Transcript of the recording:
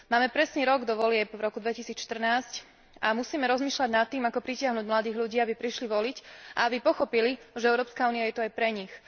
Máme presne rok do volieb v roku 2014 a musíme rozmýšľať nad tým, ako pritiahnuť mladých ľudí, aby prišli voliť a aby pochopili, že Európska únia je tu aj pre nich.